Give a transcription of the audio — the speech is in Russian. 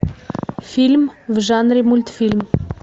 фильм в жанре мультфильм